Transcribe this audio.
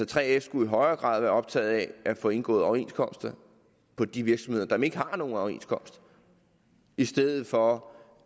3f skulle i højere grad være optaget af at få indgået overenskomster på de virksomheder som ikke har nogen overenskomst i stedet for